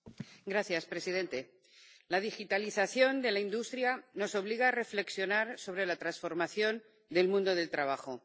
Señor presidente, la digitalización de la industria nos obliga a reflexionar sobre la transformación del mundo del trabajo.